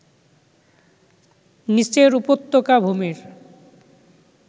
নিচের উপত্যকা ভূমির